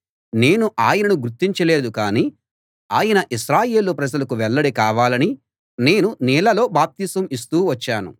నేను ఆయనను గుర్తించలేదు కానీ ఆయన ఇశ్రాయేలు ప్రజలకు వెల్లడి కావాలని నేను నీళ్ళలో బాప్తిసం ఇస్తూ వచ్చాను